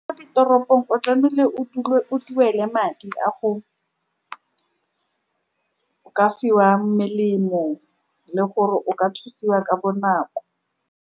Mo ditoropong, o tlamehile o dule o duele madi a go ka fiwa melemo le gore o ka thusiwa ka bonako.